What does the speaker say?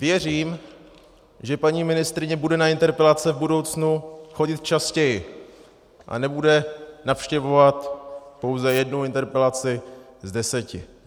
Věřím, že paní ministryně bude na interpelace v budoucnu chodit častěji a nebude navštěvovat pouze jednu interpelaci z deseti.